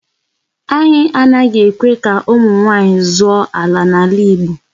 Anaghị ekwe ka ụmụ nwaanyị zụọ ala n'ala Igbo.